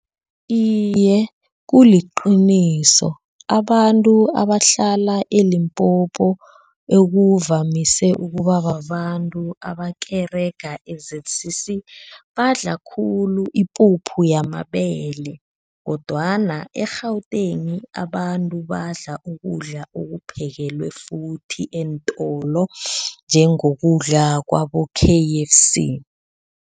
Iye, kuliqiniso abantu abahlala eLimpopo ekuvamise ukuba babantu abakerega e-Z_C_C badla khulu ipuphu yamabele kodwana, e-Gauteng abantu badla ukudla okuphekelwe futhi eentolo njengokudla kwabo-K_F_C.